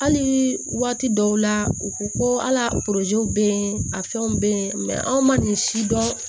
Hali waati dɔw la u ko ko al'a bɛ yen a fɛnw bɛ yen anw ma nin si dɔn